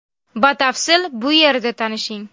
Batafsil bu yerda tanishing .